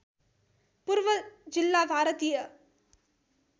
पूर्व जिल्ला भारतीय